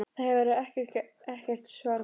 Það hefur ekkert svar borist.